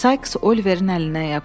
Sais Oliverin əlindən yapışdı.